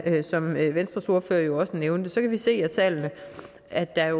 som venstres ordfører nævnte kan vi se af tallene at der